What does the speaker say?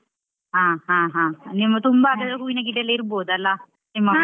ಹ ಹ ಹ ನಿಮ್ಮ ತುಂಬಾ ಅದೆಲ್ಲಾ ಹೂವಿನ ಗಿಡಯೆಲ್ಲಾ ಇರ್ಬೋದಲ್ಲ, ನಿಮ್ಮ .